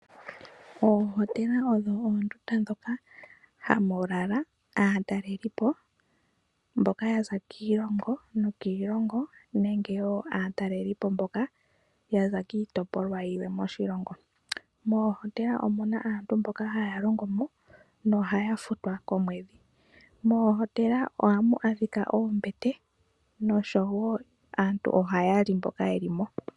Oohotela odho oondundu moka hamu lala aataleli po mboka yaza kiilongo nokiilongo nenge wo aataleli po mboka yaza kiitopolwa yilwe moshilongo. Moohotela omuna aantu mboka haya longo mo nohaya futwa komwedhi. Moohotela ohamu adhika oombete oshowo aantu mboka ohaya li sho yeli mo.